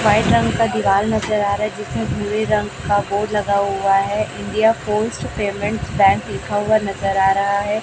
White रंग का दिवाल नजर आ रहा है जिसमें भूरे रंग का बोर्ड लगा हुआ है इंडिया पोस्ट पेमेंट्स बैंक लिखा हुआ नजर आ रहा है।